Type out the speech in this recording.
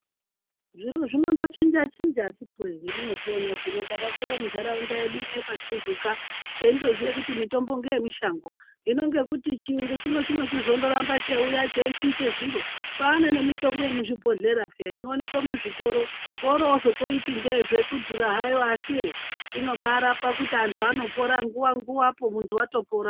Zviro zvinondo chinja chinja akiti wee yamuno zviona zvino taka kura mu ndaraunda yedu yekwa tuzuka teindo ziye kuti mitombo ngeye mishango hino ngekuti chiyungu chinochi zondo ramba cheiuya chei chinje zviro kwane ne mitombo ye muzvi bhohleya peya ino onekwe mu zvitoro kowori wozoti nde kudhura hayo asi inobai rapa kuti antu anopora nguva nguva po muntu atopora.